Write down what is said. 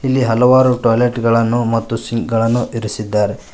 ಈ ಹಲವಾರು ಟಾಯ್ಲೆಟ್ ಗಳನ್ನು ಮತ್ತು ಸಿಂಕ್ ಗಳನ್ನು ಇರಿಸಿದ್ದಾರೆ.